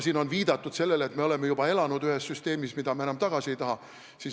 Siin on viidatud sellele, et me oleme juba elanud ühes süsteemis, mida me enam tagasi ei taha.